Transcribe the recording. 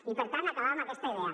i per tant acabar amb aquesta idea